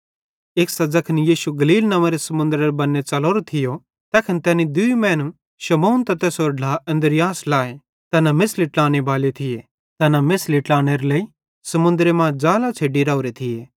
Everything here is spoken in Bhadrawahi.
एक्सां ज़ैखन यीशु गलील नव्वेंरे समुन्दरेरे बन्ने च़लोरो थियो तैखन तैनी दूई मैनू शमौन त तैसेरो ढ्ला अन्द्रियास लाए ज़ैना मेछ़ली ट्लानेबाले थिये तैना मेछ़ली ट्लानेरे लेइ समुन्दरे मां ज़ाल छ़ेड्डी राओरे थिये